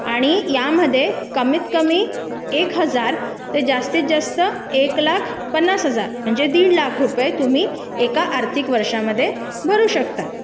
आणि यामध्ये कमीत कमी हजार रुपये जास्तीत जास्त एक लाख पन्नास हजार म्हणजे दीड लाख रुपयापर्यंत एका आर्थिक वर्षामध्ये भरू शकता